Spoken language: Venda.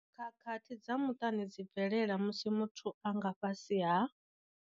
Khakhathi dza muṱani dzi bvelela musi muthu a nga fhasi ha.